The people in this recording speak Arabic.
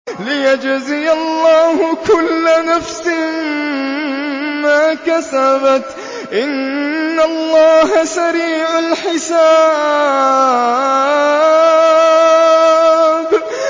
لِيَجْزِيَ اللَّهُ كُلَّ نَفْسٍ مَّا كَسَبَتْ ۚ إِنَّ اللَّهَ سَرِيعُ الْحِسَابِ